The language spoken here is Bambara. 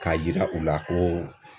K'a yira u la ko